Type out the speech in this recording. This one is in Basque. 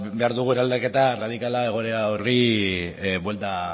behar dugu eraldaketa erradikala egoera horri buelta